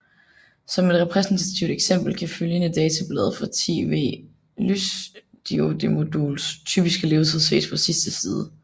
Som et repræsentativt eksempel kan følgende datablad for et 10W lysdiodemoduls typiske levetid ses på sidste side